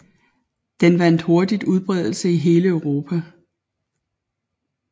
Den vandt hurtigt udbredelse i hele Europa